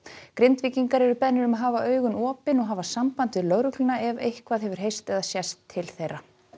Grindvíkingar eru beðnir um að hafa augun opin og hafa samband við lögregluna ef eitthvað hefur heyrst eða sést til þeirra